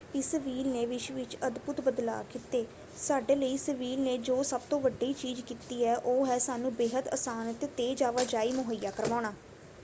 ਇਸ ਵ੍ਹੀਲ ਨੇ ਵਿਸ਼ਵ ਵਿੱਚ ਅਦਭੁਤ ਬਦਲਾਅ ਕੀਤੇ। ਸਾਡੇ ਲਈ ਇਸ ਵ੍ਹੀਲ ਨੇ ਜੋ ਸਭ ਤੋਂ ਵੱਡੀ ਚੀਜ਼ ਕੀਤੀ ਹੈ ਉਹ ਹੈ ਸਾਨੂੰ ਬੇਹੱਦ ਆਸਾਨ ਅਤੇ ਤੇਜ਼ ਆਵਾਜਾਈ ਮੁਹੱਈਆ ਕਰਵਾਉਣਾ।